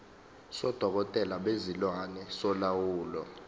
sodokotela bezilwane solawulo